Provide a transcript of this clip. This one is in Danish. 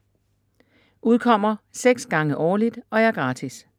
Udkommer 6 gange årligt og er gratis.